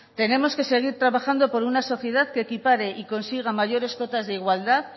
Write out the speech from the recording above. tenemos que seguir trabajando por una sociedad que equipare y consiga mayores cuotas de igualdad